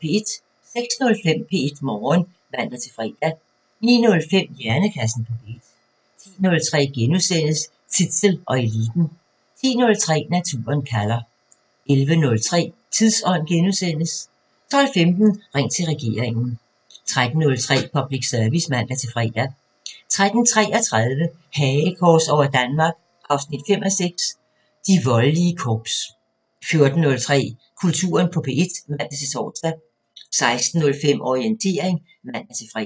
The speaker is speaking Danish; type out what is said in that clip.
06:05: P1 Morgen (man-fre) 09:05: Hjernekassen på P1 10:03: Zissel og Eliten * 10:30: Naturen kalder 11:03: Tidsånd * 12:15: Ring til regeringen 13:03: Public Service (man-fre) 13:33: Hagekors over Danmark 5:6 – De voldelige korps 14:03: Kulturen på P1 (man-tor) 16:05: Orientering (man-fre)